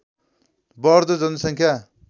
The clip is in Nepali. बढ्दो जनसङ्ख्या